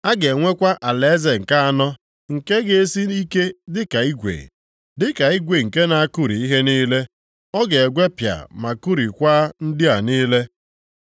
A ga-enwekwa alaeze nke anọ, nke ga-esi ike dịka igwe. Dịka igwe nke na-akụri ihe niile, ọ ga-egwepịa ma kụrikwaa ndị a niile.